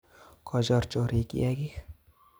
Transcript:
Kochor chorik kiyakik